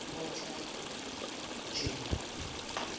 othajeyo